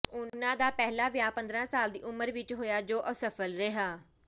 ਉਹਨਾਂ ਦਾ ਪਹਿਲਾ ਵਿਆਹ ਪੰਦਰਾਂ ਸਾਲ ਦੀ ਉਮਰ ਵਿੱਚ ਹੋਇਆ ਜੋ ਅਸਫਲ ਰਿਹਾ